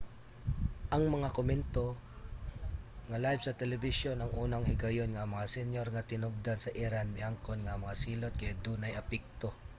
ang mga komento nga live sa telebisyon ang unang higayon nga ang mga senyor nga tinubdan sa iran miangkon nga ang mga silot kay dunay epekto